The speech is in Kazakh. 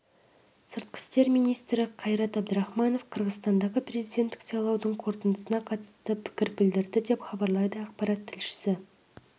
сыртқы істер министрі қайрат әбдірахманов қырғызстандағы президенттік сайлаудың қорытындысына қатысты пікір білдірді деп хабарлайды ақпарат тілшісі